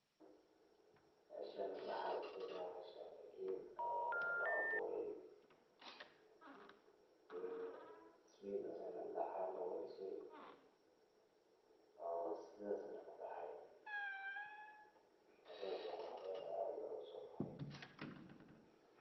Meshan waxa ujeeda geed oo laaburey in [Smith] dinac yaxa looga Disey, oo sidas neh kubahayo waliba sii qurux badan oo aad usobaxay.